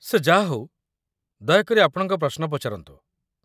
ସେ ଯାହାହେଉ, ଦୟାକରି ଆପଣଙ୍କ ପ୍ରଶ୍ନ ପଚାରନ୍ତୁ